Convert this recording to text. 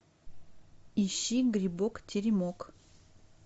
ищи грибок теремок